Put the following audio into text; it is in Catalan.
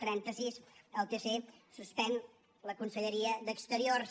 trenta sis el tc suspèn la conselleria d’exteriors